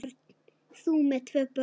Þú með tvö börn!